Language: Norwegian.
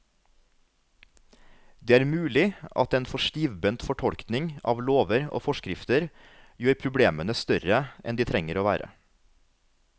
Det er mulig at en for stivbent fortolkning av lover og forskrifter gjør problemene større enn de trenger å være.